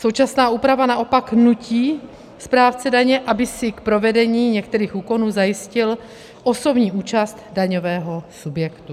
Současná úprava naopak nutí správce daně, aby si k provedení některých úkonů zajistil osobní účast daňového subjektu.